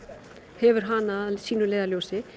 hefur hana að leiðarljósi